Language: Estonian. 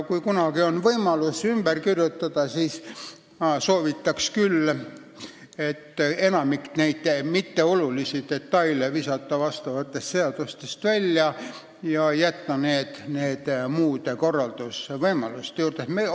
Kui kunagi on võimalus neid seadusi ümber kirjutada, siis ma soovitaks küll enamik neid mitteolulisi detaile seadustest välja visata ja jätta need korralduslikesse reeglitesse.